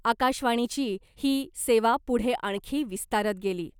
आकाशवाणीची ही सेवा पुढे आणखी विस्तारत गेली .